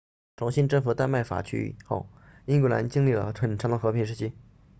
重新征服丹麦法区域 danelaw 后英格兰经历了很长的和平时期